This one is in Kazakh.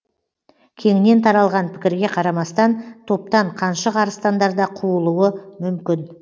кеңінен таралған пікірге қарамастан топтан қаншық арыстандар да қуылуы мүмкін